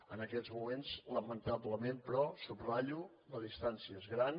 en aquests moments lamentablement però ho subratllo la distància és gran